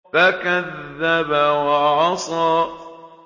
فَكَذَّبَ وَعَصَىٰ